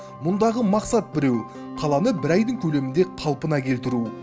мұндағы мақсат біреу қаланы бір айдың көлемінде қалпына келтіру